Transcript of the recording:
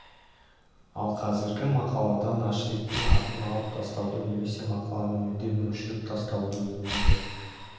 ал қазіргі мақаладан ашрифтің атын алып тастауды немесе мақаланы мүлдем өшіріп тастауды өтінді